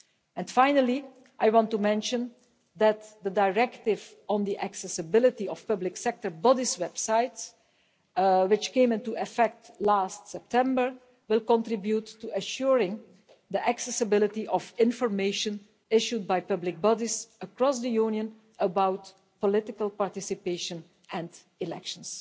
And finally, I want to mention that the directive on the accessibility of public sector bodies' websites, which came into effect last September, will contribute to assuring the accessibility of information issued by public bodies across the Union about political participation and elections.